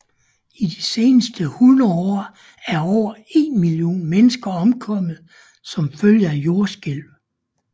I de seneste 100 år er over en million mennesker omkommet som følge af jordskælv